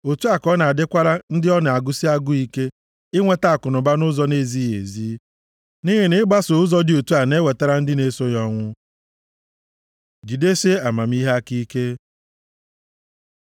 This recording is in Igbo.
Otu a ka ọ na-adịkwara ndị ọ na-agụsị agụụ ike inweta akụnụba nʼụzọ na-ezighị ezi. Nʼihi na ịgbaso ụzọ dị otu a na-ewetara ndị na-eso ya ọnwụ. Jidesie amamihe aka ike